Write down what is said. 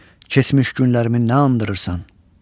Keçmiş günlərimi nə anırırsan?